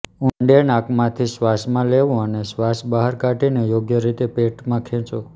ઊંડે નાકમાંથી શ્વાસમાં લેવું અને શ્વાસ બહાર કાઢીને યોગ્ય રીતે પેટમાં ખેંચો